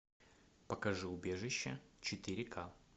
покажи убежище четыре ка